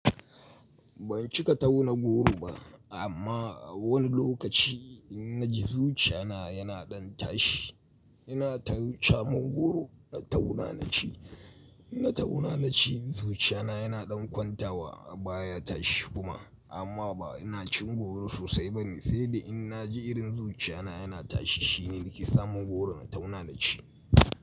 Ban cika tauna goro ba amma a wani lokaci in naji zuciya na yana ɗan tashi. Ina tau samo goro na tauna naci, in na tauna naci zuciya na yana ɗan kwanta wa ba ya tashi kuma amma ba ina cin goro sosai bane. Sai dai in naji irin zuciya na yana tashi shine nake samun goro na tauna naci.